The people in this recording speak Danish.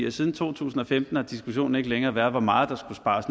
at siden to tusind og femten har diskussionen ikke længere været hvor meget der skulle spares